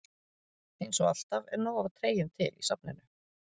Eins og alltaf er nóg af treyjum til í safninu.